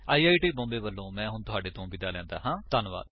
I I T Bombay ਵਲੋਂ ਮੈਂ ਹੁਣ ਤੁਹਾਡੇ ਤੋਂ ਵਿਦਾ ਲੈਂਦਾ ਹਾਂ